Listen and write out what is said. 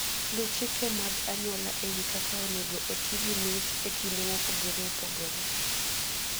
Luw chike mag anyuola e wi kaka onego oti gi mich e kinde mopogore opogore.